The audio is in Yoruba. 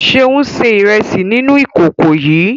Ṣeun se iresi nínú ìkòkò yii